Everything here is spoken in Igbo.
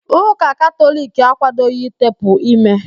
Úkà Katọliki akwadoghi ịtepụ ímé